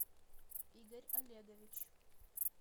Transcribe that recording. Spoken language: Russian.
игорь олегович